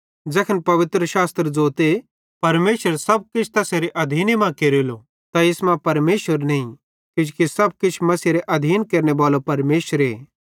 ज़ैखन पवित्रशास्त्र ज़ोते परमेशरे सब किछ तैसेरे आधीन मां केरेलो त इस मां परमेशर नईं किजोकि सब किछ मसीहेरे आधीन केरनेबालो परमेशरे